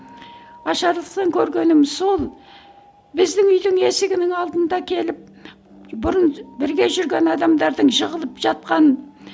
көргенім сол біздің үйдің есігінің алдында келіп бұрын бірге жүрген адамдардың жығылып жатқан